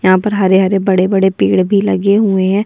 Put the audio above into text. यहाँ पर हरे-हरे बड़े-बड़े पेड़ भी लगे हुए हैं।